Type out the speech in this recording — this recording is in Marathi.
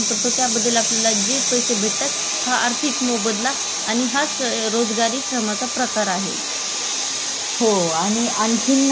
हो आणि आणखीन त्यामध्ये सार्जनात्मक श्रम आहे त्याच्यामध्ये आपण काय करू शकतो